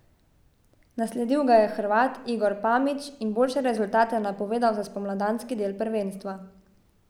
Nasledil ga je Hrvat Igor Pamić in boljše rezultate napovedal za spomladanski del prvenstva.